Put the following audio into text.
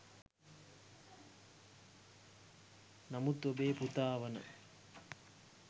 නමුත් ඔබේ පුතා වන